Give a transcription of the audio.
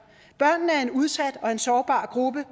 børn er en udsat og sårbar gruppe